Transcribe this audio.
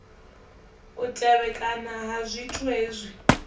u tevhekana ha zwithu hezwi